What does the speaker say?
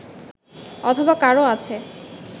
অথবা কারও কাছে